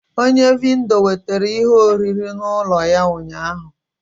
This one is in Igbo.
Onye vindor wetara ihe nri n'ulo ya ụnyahụ